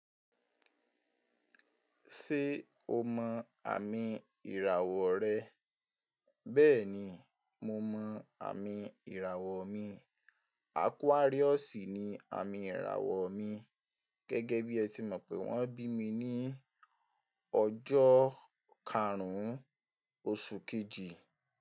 Ṣé o mọ àmì ìràwọ̀ rẹ? Bẹ́ẹ̀ni, mo mọ àmì ìràwọ̀ mi. Aquarius ni àmì ìràwọ̀ mi. Gẹ́gẹ́ bí ẹ ti mọ̀ pé wọ́n bí mi ní ọjọ́ karùn ún oṣù kejì.